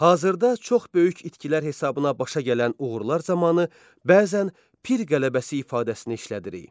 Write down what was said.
Hazırda çox böyük itkilər hesabına başa gələn uğurlar zamanı bəzən pir qələbəsi ifadəsini işlədirik.